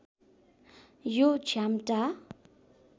यो झ्याम्टा